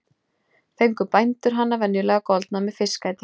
Fengu bændur hana venjulega goldna með fiskæti.